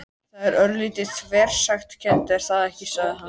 Það er örlítið þversagnakennt, er það ekki? sagði hann.